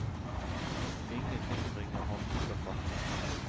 Ingenting bringer ham ut av fatning.